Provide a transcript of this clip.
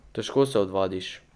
Težko se odvadiš.